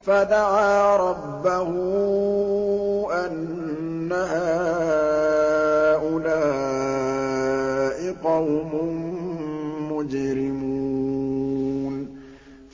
فَدَعَا رَبَّهُ أَنَّ هَٰؤُلَاءِ قَوْمٌ مُّجْرِمُونَ